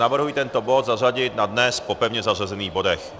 Navrhuji tento bod zařadit na dnes po pevně zařazených bodech.